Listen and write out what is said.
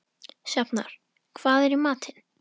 Sjafnar, hvað er í matinn?